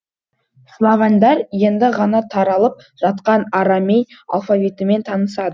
славяндар енді ғана таралып жатқан арамей алфавитімен танысады